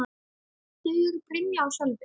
Þau eru: Brynja og Sölvi.